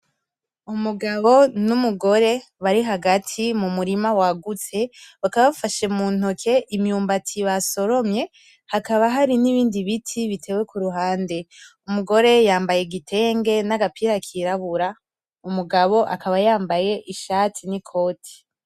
Umugabo n'umugore barihagati mu murima wagutse bakaba bafashe mu ntoke imyumbati basoromye hakaba hari n'ibindi biti bitewe kuruhande. Umugore yambaye igitenge n'agapira kirabura, umugabo akaba yambaye ishati n'ikoti.